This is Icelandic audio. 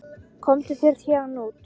Komdu þér út héðan!